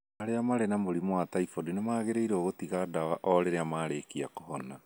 Arĩa marĩ na mũrimũ wa typhoid nĩ magĩrĩirũo gũtiga ndawa o rĩrĩa marĩkia kuhona.